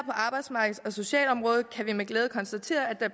socialområdet kan vi med glæde konstatere at